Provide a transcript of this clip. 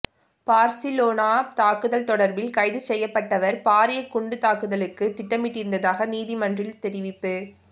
Barcelona தாக்குதல் தொடர்பில் கைது செய்யப்பட்டவர் பாரிய குண்டுதாக்குதல்களுக்கு திட்டமிட்டிருந்ததாக நீதிமன்றில் தெரிவிப்பு